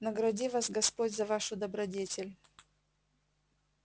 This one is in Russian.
награди вас господь за вашу добродетель